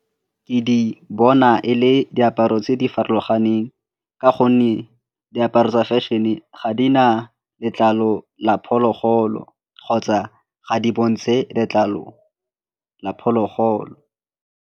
Ke di bona e le diaparo tse di farologaneng ka gonne diaparo tsa fashion-e ga di na letlalo la phologolo kgotsa ga di bontshe letlalo la phologolo.